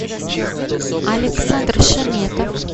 александр шаметов